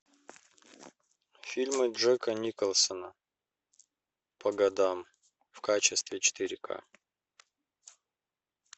фильмы джека николсона по годам в качестве четыре ка